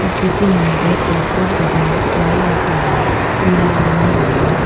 पीछे में बैग पे बहुत ज्यादा फ्लॉवर रखा हुआ है पीला और लाल रंग का।